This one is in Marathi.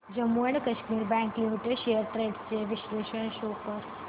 Jammu and Kashmir bank limited shares trends चे विश्लेषण शो कर